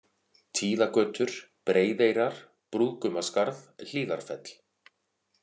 Tíðagötur, Breiðeyrar, Brúðgumaskarð, Hlíðarfell